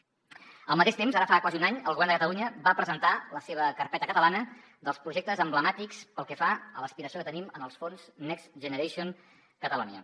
al mateix temps ara fa quasi un any el govern de catalunya va presentar la seva carpeta catalana dels projectes emblemàtics pel que fa a l’aspiració que tenim en els fons next generation catalonia